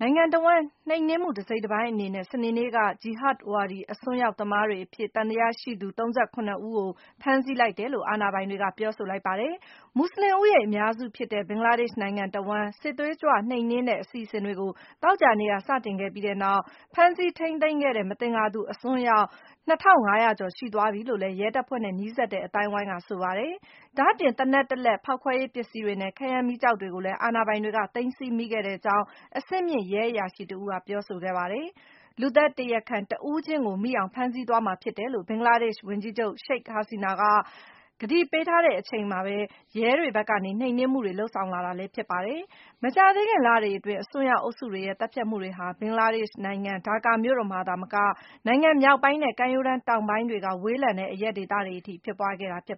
နိုင်ငံတဝှမ်း နှိမ်နင်းမှု တစိတ်တပိုင်းအနေနဲ့ စနေနေ့က ဂျီဟဒ်ဝါဒီ အစွန်းရောက်သမားအဖြစ် သံသယရှိသူ ၃၇ ဦးကို ဖမ်းဆီးလိုက်တယ်လို့ အာဏာပိုင်တွေက ပြောဆိုပါတယ်။ မူဆလင်ဦးရေ အများစုဖြစ်တဲ့ ဘင်္ဂလားဒေ့ရှ်နိုင်ငံတဝှမ်း စစ်သွေးကြွနှိမ်နင်းတဲ့ အစီအစဉ်တွေကို သောကြာနေ့က စတင်ခဲ့ပြီးနောက် ဖမ်းဆီးထိန်းသိမ်း ခဲ့တဲ့ မသင်္ကာသူ အစွန်းရောက် ၂၅၀၀ ကျော်အထိ ရှိသွားပြီလို့လည်း ရဲတပ်ဖွဲ့နဲ့နီးစပ်တဲ့ အသိုင်းအဝိုင်းက ဆိုပါတယ်။ ဒါ့အပြင် သေနတ် ၁ လက်၊ ဖောက်ခွဲရေးပစ္စည်းတွေနဲ့ ခဲယမ်းမီးကျောက်တွေကိုလည်း အာဏာပိုင်တွေက သိမ်းဆည်းမိခဲ့ကြောင်း အဆင့်မြင့် ရဲအရာရှိတဦးက ပြောဆိုခဲ့တာပါ။ လူသတ်တရားခံ တဦးချင်းကို မိအောင် ဖမ်းဆီးသွားမှာဖြစ်တယ်လို့ ဘင်္ဂလားဒေ့ရှ်ဝန်ကြီးချုပ် ရှိတ် ဟာစီနာ က ကတိပေးထားတဲ့ အချိန်မှာပဲ ရဲတွေဘက်က နှိမ်နင်းမှုတွေ လုပ်ဆောင်လာတာလည်း ဖြစ်ပါတယ်။ မကြာသေးခင်လတွေအတွင်း - အစွန်းရောက်အုပ်စုတွေရဲ့ သတ်ဖြတ်မှုတွေဟာ ဘင်္ဂလားဒေ့ရှ်နိုင်ငံ ဒါကာ မြို့တော်မှာသာမက နိုင်ငံမြောက်ပိုင်းနဲ့ ကမ်းရိုးတန်းတောင်ဘက်ပိုင်းတွေက ဝေးလံတဲ့ အရပ်ဒေသတွေအထိ ဖြစ်ပွားခဲ့တာပါ